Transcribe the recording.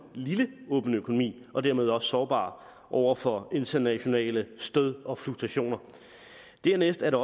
lille åben økonomi og dermed sårbar over for internationale stød og fluktationer dernæst er